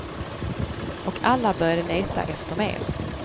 Och alla började leta efter mer.